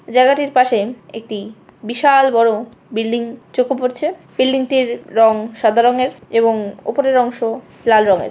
জায়গাটির পাশে একটি বিশাল বড় বিল্ডিং চোখে পড়ছে। বিল্ডিং টির রং সাদা রংয়ের এবং উপরের অংশ লাল রংয়ের।